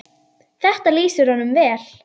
Þetta lýsir honum vel.